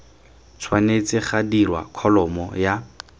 tshwanetse ga dirwa kholomo ya